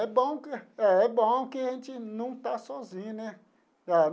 É bom que é bom que a gente não está sozinho, né?